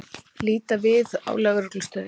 Líta við á Lögreglustöðinni.